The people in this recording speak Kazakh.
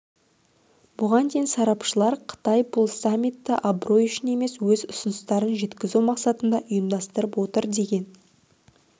бұған дейін сарапшылар қытай бұл саммитті абырой үшін емес өз ұсыныстарын жеткізу мақсатында ұйымдастырып отыр деген